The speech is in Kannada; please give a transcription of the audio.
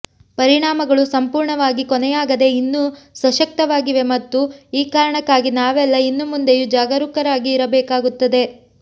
ಪರಿಣಾಮಗಳು ಸಂಪೂರ್ಣವಾಗಿ ಕೊನೆಯಾಗದೆ ಇನ್ನೂ ಸಶಕ್ತವಾಗಿವೆ ಮತ್ತು ಈ ಕಾರಣಕ್ಕಾಗಿ ನಾವೆಲ್ಲ ಇನ್ನು ಮುಂದೆಯೂ ಜಾಗರೂಕರಾಗಿ ಇರಬೇಕಾಗುತ್ತದೆ